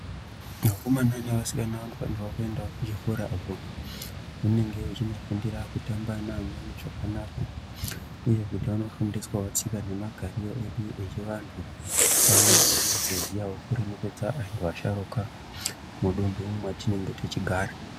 Vakomana nevasikana vanofanirwa kuenda kuchikoracho ..zvinenge zvinofundira kutamba neamweni zvakanaka kuti uye aone kufundiswawo tsika nemagariro edu echivantu pamwe nekuzoziyavo nekuremekedza vasharukwa mudundu ratinenge tichigara.